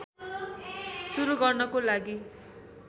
सुरु गर्नको लागि